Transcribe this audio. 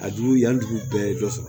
A jugu yan dugu bɛɛ ye dɔ sɔrɔ